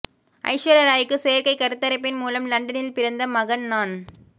ஐஸ்வர்யா ராய்க்கு செயற்கை கருத்தரிப்பின் மூலம் லண்டனில் பிறந்த மகன் நான்